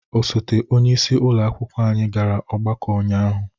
Osote onyeisi ụlọ akwụkwọ anyị gara ọgbakọ ụnyaahụ.